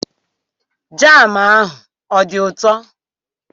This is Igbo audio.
Jam ahụ ọ dị ụtọ?